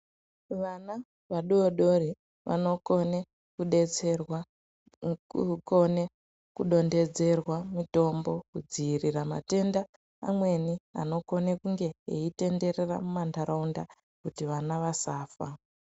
Vana vadodori, vanokone kudetserwa ngekukone kudondedzerwa mutombo kudziyirira matenda amweni anokone kunge eyitenderera mumandarawunda, kuti vana vasafa.